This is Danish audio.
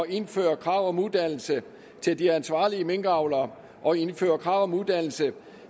indføre krav om uddannelse til de ansvarlige minkavlere og indføre krav om uddannelse